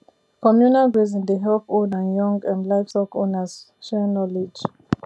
communal grazing dey help old and young um livestock owners share knowledge